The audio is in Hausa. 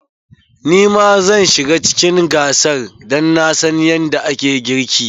Ni ma zan shiga cikin gasar dan na san yadda ake girki.